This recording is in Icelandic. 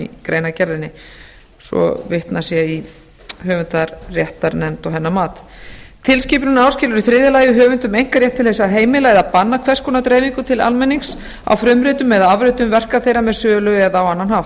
í greinargerðinni svo vitnað sé í höfundaréttarnefnd og hennar mat tilskipunin áskilur í þriðja lagi höfundum einkarétt til þess að heimila og banna hvers konar dreifingu til almennings á frumritum eða afritum verka þeirra með sölu eða á annan hátt